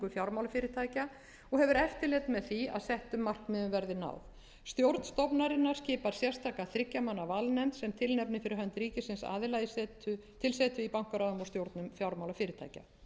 fjármálafyrirtækja og hefur eftirlit með því að settum markmiðum verði náð stjórn stofnunarinnar skipar sérstaka þriggja manna valnefnd sem tilnefnir fyrir hönd ríkisins aðila til setu í bankaráðum og stjórnum fjármálafyrirtækja